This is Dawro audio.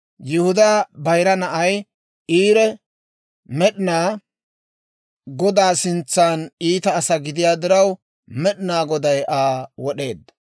Yihudaa bayira na'ay, Eeri, Med'inaa Godaa sintsaan iita asaa gidiyaa diraw, Med'ina Goday Aa wod'eedda.